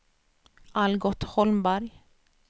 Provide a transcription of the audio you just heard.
Algot Holmberg